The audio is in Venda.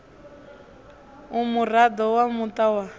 u muraḓo wa muṱa wa